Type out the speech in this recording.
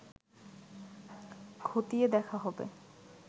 ক্ষতিয়ে দেখা হবে